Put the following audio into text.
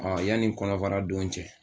Ɔ yanni kɔnɔfara don cɛ